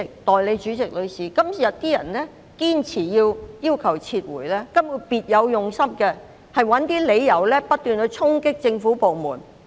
代理主席，今天堅持要求撤回的人根本別有用心，試圖找一些理由不斷衝擊政府部門。